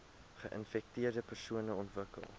geinfekteerde persone ontwikkel